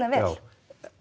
vel